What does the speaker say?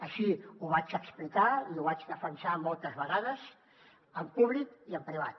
així ho vaig explicar i ho vaig defensar moltes vegades en públic i en privat